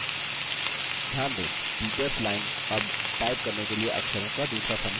ध्यान दें teachers line अब type करने के लिए अक्षरों का दूसरा समूह दर्शाती है